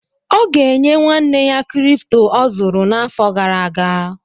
Ọ ga-enye nwanne ya kịrịpụtọ ọ zụrụ n’afọ gara aga